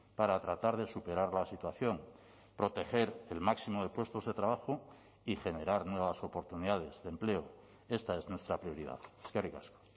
para tratar de superar la situación proteger el máximo de puestos de trabajo y generar nuevas oportunidades de empleo esta es nuestra prioridad eskerrik asko